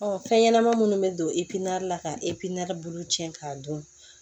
fɛn ɲɛnama minnu bɛ don la ka bolo cɛn k'a dun